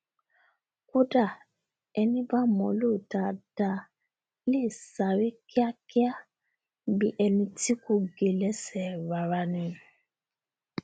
kódà ení bá mọ ọ lò dáadáa lè sáré kíakía bí eni tí kò gé lẹsẹ rárá ni